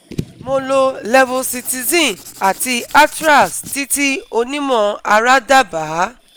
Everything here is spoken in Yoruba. Mo lo Levocitizine àti Atrax tí tí onímọ̀ ara dábaa